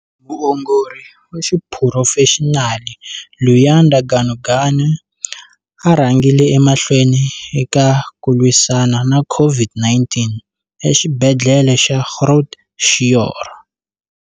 Muongori wa xiphurofexinali, Luyanda Ganuganu a rhangile emahlweni eka ku lwisana na COVID-19 eXibedhlele xa Groote Schuur.